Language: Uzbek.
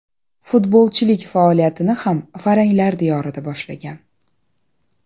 Futbolchilik faoliyatini ham faranglar diyorida boshlagan.